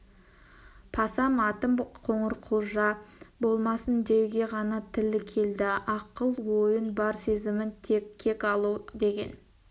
пасам атым қоңырқұлжа болмасын деуге ғана тілі келді ақыл-ойын бар сезімін тек кек алу деген